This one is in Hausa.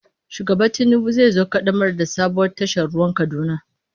Shugaba Tinubu zai zo ƙaddamar da sabuwar tashar ruwan Kaduna.